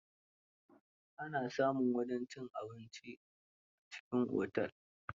Ana samun wajen cin abinci a cikin Otel.